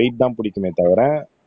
wait தான் பிடிக்குமே தவிர